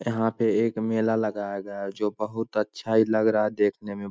यहाँ पे एक मेला लगा हैगा जो बहुत अच्छा ही लग रहा देखने मे।